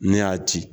Ne y'a ci